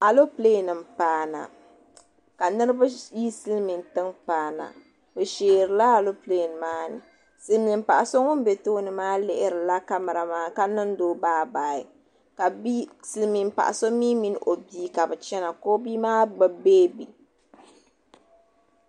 alɛɛpilɛ nim paana ka niriba yi silimintɛŋa paana be shɛeila alɛɛpilɛ maani di ni paɣ' so ŋɔ bɛ tuuni lihirila kamara maa ka niŋ do bayi bayi ka bi min paɣ' so mi min o biya china ka o bimaa gbabi bɛɛbɛ